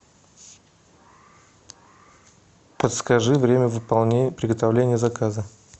подскажи время приготовления заказа